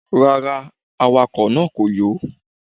Rárá, awakọ̀ náà kò yó.